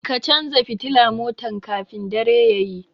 Ka canza fitila motan ka kafin dare tayi